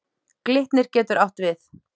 Glitnir getur átt við